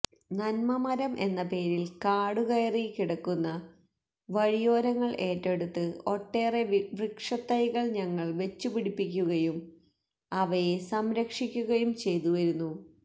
നന്മമരം എന്നപേരില് കാടുകയറി കിടക്കുന്ന വഴിയോരങ്ങള് ഏറ്റെടുത്ത് ഒട്ടേറെ വൃക്ഷതൈകള് ഞങ്ങള് വച്ചുപിടിപ്പിക്കുകയും അവയെ സംരക്ഷിക്കുകയും ചെയ്തു വരുന്നു